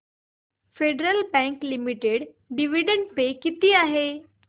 federal bank limited dividend pay किती आहे